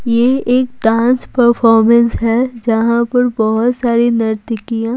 ये एक dance performance है जहां पर बहुत सारी नर्तकियां--